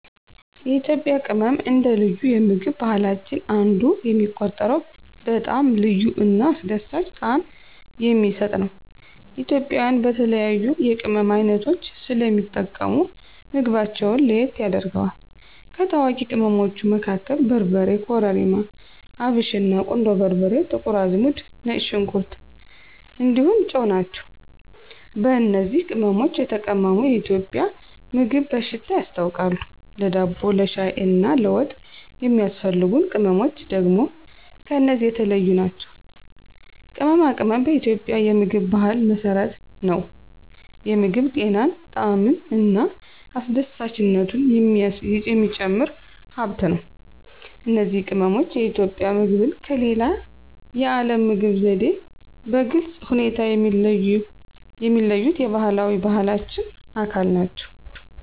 የኢትዮጵያ ቅመም አንደ ልዩ የምግብ ባህላችን አንዱ የሚቆጠረው በጣም ልዩ እና አስደሳች ጣዕም የሚሰጥ ነው። ኢትዮጵያውያን በተለያዩ የቅመም ዓይነቶች ስለሚጠቀሙ ምግባቸውን ለየት ያደርገዋል። ከታዋቂ ቅመሞቹ መካከል በርበሬ, ኮረሪማ፣ አብሽና, ቁንዶ በርበሬ፣ ጥቁር አዝሙድ፣ ነጭ ሽንኩር እንዲሁም ጨው ናቸው። በእነዚህ ቅመሞች የተቀመመ የኢትዮጵያ ምግብ በሽታ ያስታውቃል፣ ለዳቦ፣ ለሻይ እና ለወጥ የሚያስፈልጉ ቅመምች ደግም ከነዚህ የተለዮ ናቸው። ቅመማ ቅመም በኢትዮጵያ የምግብ ባህል መሰረት ነው፤ የምግብ ጤናን፣ ጣዕምን እና አስደሳችነቱን የሚጨምር ሃብት ነው። እነዚህ ቅመሞች የኢትዮጵያ ምግብን ከሌላ የዓለም ምግብ ዘዴ በግልጽ ሁኔታ የሚለዩት የባህላዊ ባህላችን አካል ናቸው።